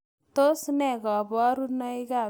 Tos nee koborunoikab Spondylocostal dysostosis 1?